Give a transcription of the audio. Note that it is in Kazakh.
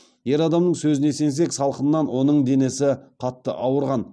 ер адамның сөзіне сенсек салқыннан оның денесі қатты ауырған